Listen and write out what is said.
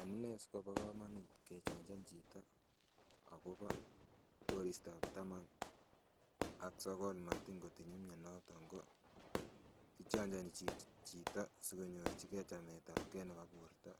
Amunee sikobo komonut kechanjan chito akobo koristab taman ak sokol matin kotinye mionoton ko kichonjoni chito asikonyorchigee chametabgee nebo borto